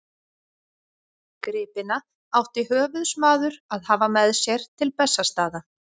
Gripina átti höfuðsmaður að hafa með sér til Bessastaða.